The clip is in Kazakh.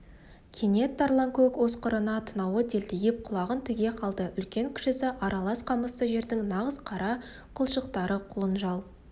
кенет тарланкөк осқырына танауы делдиіп құлағын тіге қалды үлкен-кішісі аралас қамысты жердің нағыз қара қылшықтары құлынжал